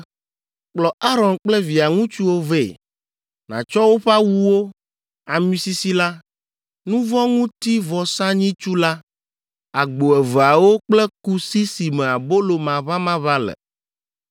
“Kplɔ Aron kple via ŋutsuwo vɛ, nàtsɔ woƒe awuwo, ami sisi la, nu vɔ̃ ŋuti vɔsanyitsu la, agbo eveawo kple kusi si me abolo maʋamaʋã le,